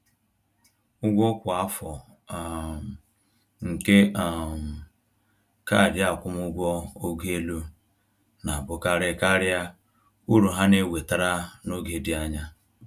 Ụgwọ kwa afọ um nke um kaadị akwụmụgwọ ogo elu na-abụkarị karịa uru ha na-ewetara n’oge dị anya